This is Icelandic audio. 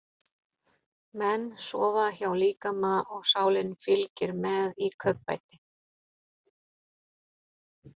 Menn sofa hjá líkama og sálin fylgir með í kaupbæti.